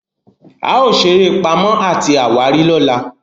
ao sere eré Pàmò àti àwárí lọla.